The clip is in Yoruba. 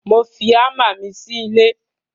Mo fi àmà mi lẹ sí lẹ.